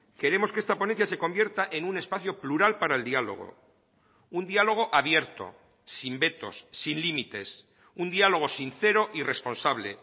queremos que esta ponencia se convierta en un espacio plural para el diálogo un diálogo abierto sin vetos sin límites un diálogo sincero y responsable